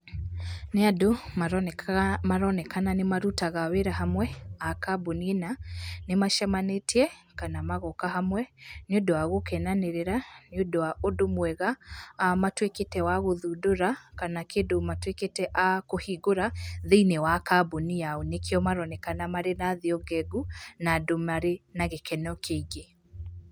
Nĩ andũ maroneka, maronekana nĩ marutaga wĩra hamwe a kambuni ĩna na nĩmacemanĩtie kana magoka hamwe, nĩ ũndũ wa gũkenanĩrĩra nĩ ũndũ wa ũndũ mwega matuĩkĩte a gũthundũra kana kĩndũ matuĩkĩte a kũhingũra thĩinĩ wa kamboni yao. Nĩkĩo maronekana mena thiũ ngengu, na andũ marĩ na gĩkeno kĩingĩ.